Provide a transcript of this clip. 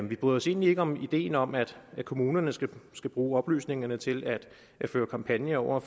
vi bryder os egentlig ikke om ideen om at kommunerne skal skal bruge oplysningerne til at føre kampagner over